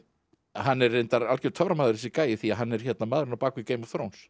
hann er reyndar algjör töframaður þessi gæi því hann er maðurinn á bak við Game of